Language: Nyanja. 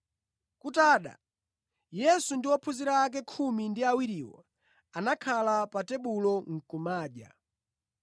Kutada, Yesu ndi ophunzira ake khumi ndi awiriwo anakhala pa tebulo nʼkumadya.